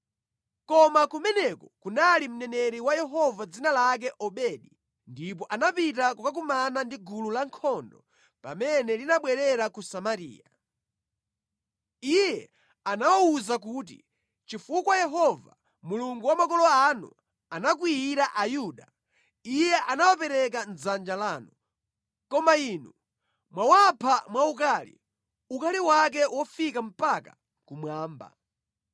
Koma kumeneko kunali mneneri wa Yehova dzina lake Odedi, ndipo anapita kukakumana ndi gulu lankhondo pamene linabwerera ku Samariya. Iye anawawuza kuti, “Chifukwa Yehova, Mulungu wa makolo anu anakwiyira Ayuda, Iye anawapereka mʼdzanja lanu. Koma inu mwawapha mwaukali, ukali wake wofika mpaka kumwamba.